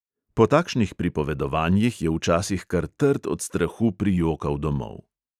Po takšnih pripovedovanjih je včasih kar trd od strahu prijokal domov.